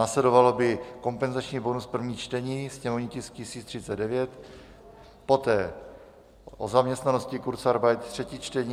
Následoval by kompenzační bonus první čtení, sněmovní tisk 1039, poté o zaměstnanosti, kurzarbeit, třetí čtení.